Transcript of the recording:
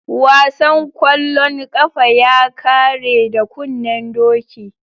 Wasan kwallon kafa ya kare da kunnen doki.